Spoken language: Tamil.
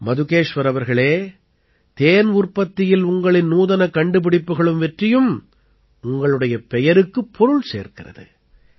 மதுகேஷ்வர் அவர்களே தேன் உற்பத்தியில் உங்களின் நூதனக் கண்டுபிடிப்புகளும் வெற்றியும் உங்களுடைய பெயருக்குப் பொருள் சேர்க்கிறது